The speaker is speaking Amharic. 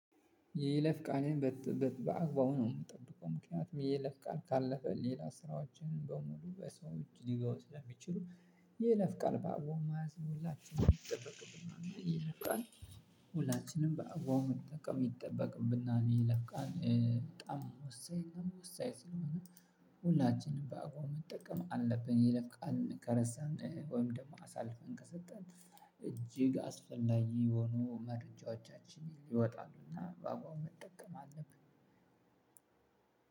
ይለፍቃልን በአግባቡ ነው የምጠብቀው ምክንያቱም ይለፍቃል ካለፈ ሌላ ስራዎችን በሙሉ በሰዎች ሊገውት ሊያምን ይችላል ይለፍ ቃል በአዎ ማዘን ሁላችንም ይጠበቅብናል ይለፍ ቃል ሁላችንም በአግባቡ መጠቀም ይጠበቅብና የይለቃል በጣም ወሳኝ ወሳኝ ስለሆነ። ሁላችንም በአግባቡ መጠቀም አለብን የይለፍ ቃል መገረስ ወይም ደግሞ አሳልፈን ከሰጠን እጅግ አስፈላጊ የሆኑ መረጃዎቻችን ይወጣሉና በአጓው መጠቀም አለብን።